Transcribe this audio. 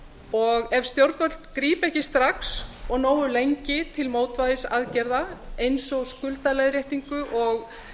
og ef stjórnvöld grípa ekki strax og nógu lengi til mótvægisaðgerða eins og skuldaleiðréttinga og